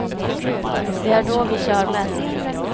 Det är då vi kör mest.